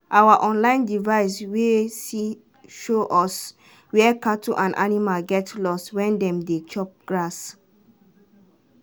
our online device way see show us where cattle and animal get lost when dem dey chop grass